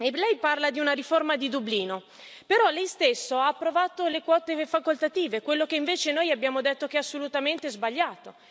Lei parla di una riforma di Dublino, però lei stesso ha approvato le quote facoltative, quello che invece noi abbiamo detto che è assolutamente sbagliato.